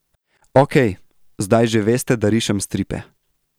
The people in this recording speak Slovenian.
Okej, zdaj že veste, da rišem stripe.